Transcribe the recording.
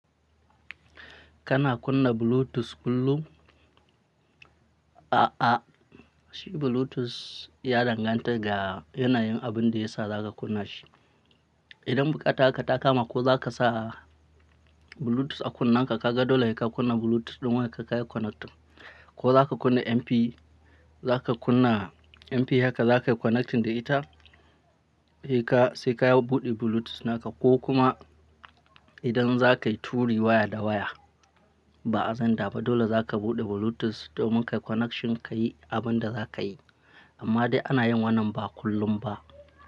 Kana kunna Bluetooth kullum? A'a, shi Bluetooth ya danganta ga yanayin abin da yasa za ka kunna shi. Idan buƙata haka ta kama ko za ka sa Bluetooth a kunnen ka, ka ga dole se ka kunna Bluetooth ɗin haka ka yi connect. Ko za ka kunna MP, za ka kunna MP haka za ka yi connecting da ita. Haka sai ka buɗe Bluetooth na ka, ko kuma idan za ka yi turi waya da waya, ba zan da ba. Dole za ka buɗe Bluetooth domin ka yi connection, ka yi abin da za ka yi. Amma dai ana yin wannan ba kullum ba.